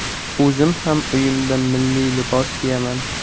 O‘zim ham uyimda milliy libos kiyaman.